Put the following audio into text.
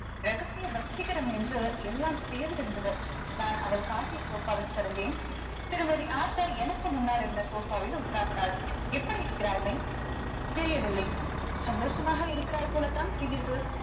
ரகசிய வசீகரம் என்று எல்லாம் சேர்ந்திருந்தது நான் அவள் காட்டிய sofa வில் சரிந்தேன் திருமதி ஆஷா எனக்கு முன்னால் இருந்த sofa வில் உட்கார்ந்தாள் எப்படி இருக்கிறாய் மெய் தெரியவில்லை சந்தோஷமாக இருக்கிறாய் போலத்தான் தெரிகிறது